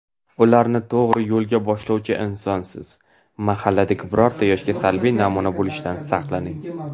ularni to‘g‘ri yo‘lga boshlovchi insonsiz. Mahalladagi birorta yoshga salbiy namuna bo‘lishdan saqlaning.